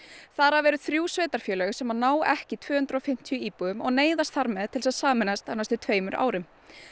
þar af eru þrjú sveitarfélög sem ná ekki tvö hundruð og fimmtíu íbúum og neyðast þar með til að sameinast á næstu tveimur árum